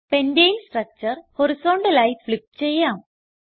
പെന്റനെ structure horizontal ആയി flip ചെയ്യാം